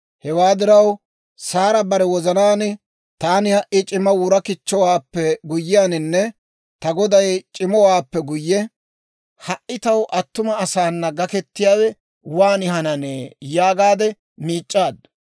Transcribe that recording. Hewaa diraw Saara bare wozanaan, «Taani ha"i c'ima wura kichchowaappe guyyiyaaninne ta goday c'imowaappe guyye, ha"i taw attuma asaana gaketiyaawe waan hananee?» yaagaade miic'c'aaddu.